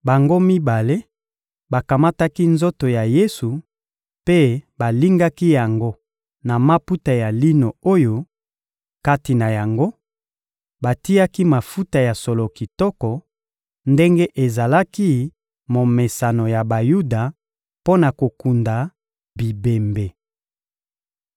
Bango mibale bakamataki nzoto ya Yesu mpe balingaki yango na maputa ya lino oyo, kati na yango, batiaki mafuta ya solo kitoko, ndenge ezalaki momesano ya Bayuda mpo na kokunda bibembe.